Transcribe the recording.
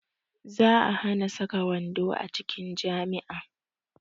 Za a hana saka wando a cikin jami'a